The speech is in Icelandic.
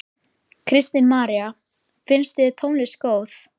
Kristín María: Finnst þér tónlistin góð?